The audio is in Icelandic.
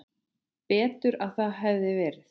Betur að það hefði verið.